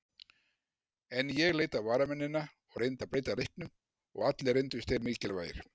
En ég leit á varamennina og reyndi að breyta leiknum og allir reyndust þeir mikilvægir.